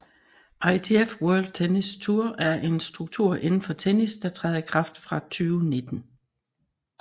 ITF World Tennis Tour er en struktur indenfor tennis der træder i kraft fra 2019